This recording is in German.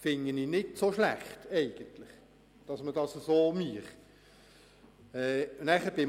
Eigentlich fände ich es nicht so schlecht, wenn man es so machen würde.